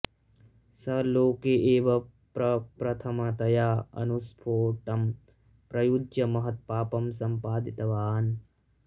सः लोके एव प्रप्रथमतया अणुस्पोटम् प्रयुज्य महत्पापम् सम्पादितवान्